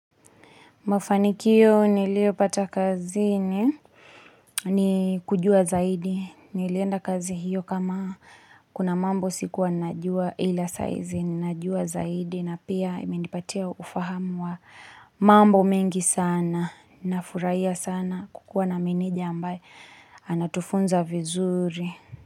Mafanikio niliyopata kazini ni kujua zaidi. Nilienda kazi hiyo kama kuna mambo sikuwa najua ila saa hizi. Ninajua zaidi na pia imenipatia ufahamu wa mambo mengi sana. Ninafurahia sana kukuwa na meneja ambaye anatufunza vizuri.